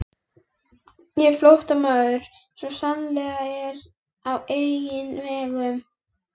Ég er flóttamaður, svo sannarlega, en á eigin vegum